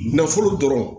Nafolo dɔrɔn